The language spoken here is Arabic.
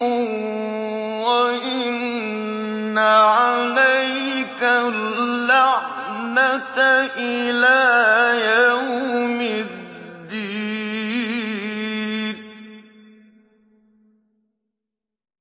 وَإِنَّ عَلَيْكَ اللَّعْنَةَ إِلَىٰ يَوْمِ الدِّينِ